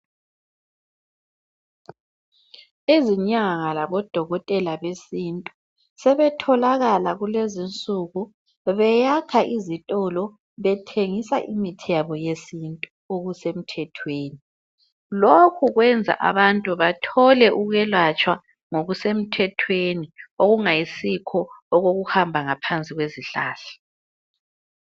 Izinyanga labodokotela besintu. Sebetholakala kulezinsuku, beyakha izitolo, bethengisa imithi yabo yesintu, okusemthethweni. Lokhu kwenza abantu bathole ukwelatshwa ngokusemthethwe, okungayisikho okokuhamba ngaphansi kwezihlahla.